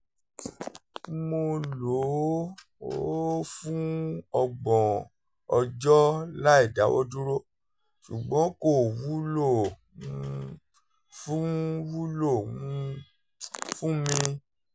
mo lò ó fún ọgbọ̀n ọjọ́ láìdáwọ́dúró ṣùgbọ́n kò wúlò um fún wúlò um fún mi